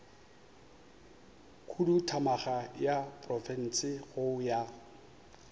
khuduthamaga ya profense go ya